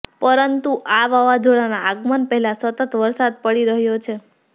પરંતુ આ વાવાઝોડાના આગમન પહેલા સતત વરસાદ પડી રહ્યો છે